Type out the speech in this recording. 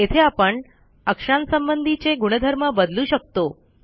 येथे आपण अक्षांसंबंधीचे गुणधर्म बदलू शकतो